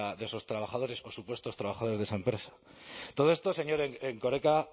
de esos trabajadores o supuestos trabajadores de esa empresa todo esto señor erkoreka